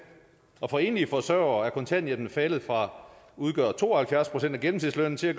og for enlige forsørgere er kontanthjælpen faldet fra at udgøre to og halvfjerds procent af gennemsnitslønnen til at